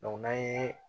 n'an ye